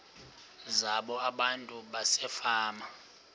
zabo abantu basefama